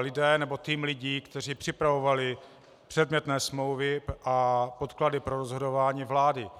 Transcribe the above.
lidé, nebo tým lidí, kteří připravovali předmětné smlouvy a podklady pro rozhodování vlády.